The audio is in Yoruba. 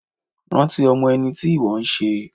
Rántí ọmọ ẹni tí ìwọ n se